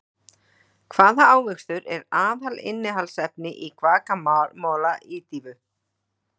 Hvaða ávöxtur er aðalinnihaldsefni í Guacamole ídýfu?